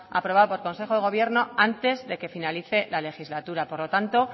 aprobado por consejo de gobierno antes de que finalice la legislatura por lo tanto